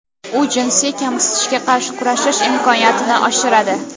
U jinsiy kamsitishga qarshi kurashish imkoniyatini oshiradi.